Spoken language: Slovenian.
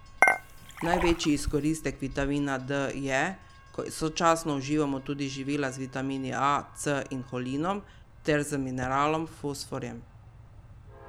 Največji izkoristek vitamina D je, ko sočasno uživamo tudi živila z vitamini A, C in holinom ter z mineralom fosforjem.